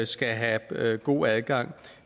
skal have god adgang